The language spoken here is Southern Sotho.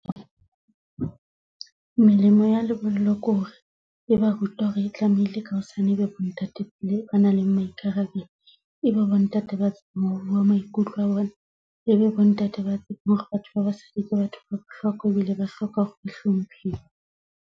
Melemo ya lebollo ke hore e ba ruta hore e tlamehile ka hosane e be bo ntate pele ba nang le maikarabelo e be bontate, ebe bo ntate ba tsebang ho bua maikutlo a bona, e be bo ntate ba batho ba basadi ke batho ba bohlokwa ebile ba hloka ho hlomphiwa.